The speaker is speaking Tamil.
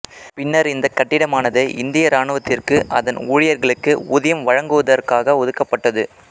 பின்னர் இந்த கட்டிடமானது இந்திய இராணுவத்திற்கு அதன் ஊழியர்களுக்கு ஊதியம் வழங்குவதற்காக ஒதுக்கப்பட்டது